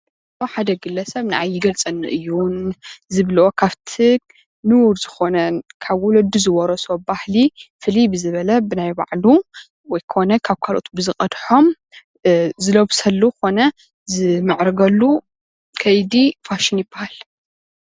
ሓደ ግለሰብ ንዓይ ይገልፀኒ እዩ ዝብሎ ካፍቲ ንቡር ዝኾነ ካብ ወለዱን ዝወረሶ ባህሊ ፋልይ ብዝበለ ብናይባዕሉ ወይ ኮነ ካብ ካልኦት ብዝቀድሖም ዝለብሰሉ ኾነ ዝምዕርገሉ ኸይዲ ፋሽን ይበሃል።